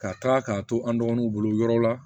Ka taa k'a to an dɔgɔninw bolo yɔrɔw la